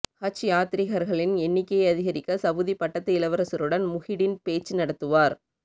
ஹஜ் யாத்திரிகர்களின் எண்ணிக்கையை அதிகரிக்க சவுதி பட்டத்து இளவரசருடன் முஹிடின் பேச்சு நடத்துவார்